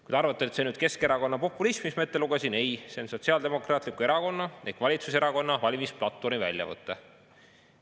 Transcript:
" Kui te arvate, et see on Keskerakonna populism, mis ma ette lugesin, siis ei, see on Sotsiaaldemokraatliku Erakonna ehk valitsuserakonna valimisplatvormi väljavõte.